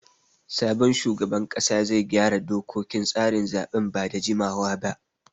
Sabon shugaban ƙasa zai gyara dokokin tsarin zaɓen ba da jimawa ba.